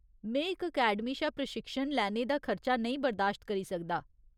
में इक अकैडमी चा प्रशिक्षण लैने दा खर्चा नेईं बरदाश्त करी सकदा।